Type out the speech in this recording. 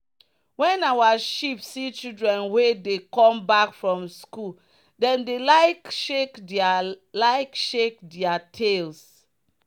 when our sheep see children wey dey come back from school dem dey like shake their like shake their tails.